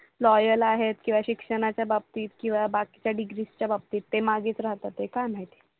LOYAL आहेत किंवा शिक्षणाच्या बाबतीत किंवा बाकीच्या डिग्रीच्या बाबतीत ते मागेच राहतात ते काय माहिती?